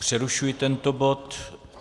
Přerušuji tento bod.